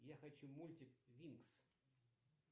я хочу мультик винкс